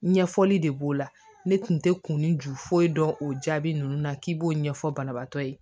Ɲɛfɔli de b'o la ne kun tɛ kun ju foyi dɔn o jaabi ninnu na k'i b'o ɲɛfɔ banabaatɔ ye